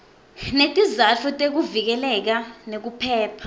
netizatfu tekuvikeleka nekuphepha